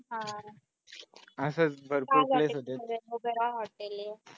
हा आह काय झालंय तिथं मोगरा hotel आहे.